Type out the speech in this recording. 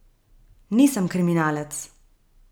Nisem kriminalec!